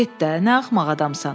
nə axmaq adamsan.